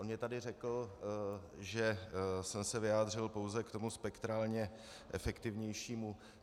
On mi tady řekl, že jsem se vyjádřil pouze k tomu spektrálně efektivnějšímu.